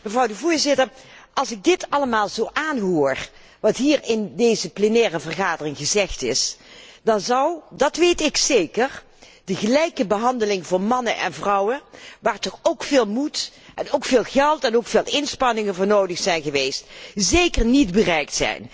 Voorzitter, als ik dit allemaal zo aanhoor, wat hier in deze plenaire vergadering gezegd is, dan zou, dat weet ik zeker, de gelijke behandeling van mannen en vrouwen, waar toch ook veel moed en veel geld en veel inspanningen voor nodig zijn geweest, zeker niet bereikt zijn.